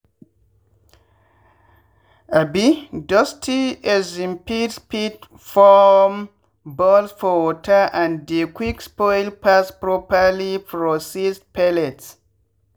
um dusty um feeds fit form balls for water and dey quick spoil pass properly processed pellets.